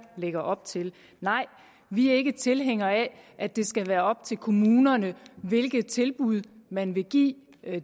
lægger op til nej vi er ikke tilhængere af at det skal være op til kommunerne hvilke tilbud man vil give